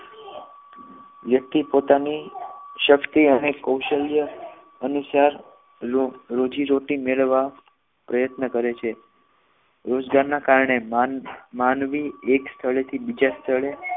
વ્યક્તિ પોતાની શક્તિ અને કૌશલ્ય અનુસાર રોજીરોટી મેળવા પ્રયત્ન કરે છે રોજગાર ના કારણે માનવી એક સ્થળેથી બીજા સ્થળે